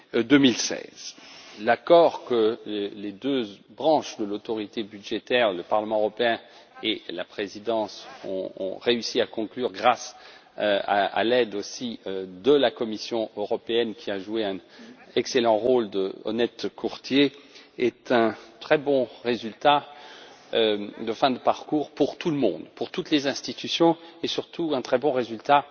2016. L'accord que les deux branches de l'autorité budgétaire, le Parlement européen et la présidence, ont réussi à conclure grâce aussi à l'aide de la Commission européenne, qui a joué un excellent rôle de honnête courtier, est un très bon résultat de fin de parcours pour tout le monde, pour toutes les institutions et, surtout, un très bon résultat